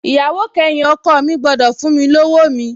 Ìyàwó kẹyìn ọkọ̀ mi gbọ́dọ̀ fún mi lọ́wọ́ mi